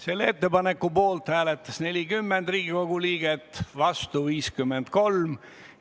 Selle ettepaneku poolt hääletas 40 Riigikogu liiget, vastuolijaid 53.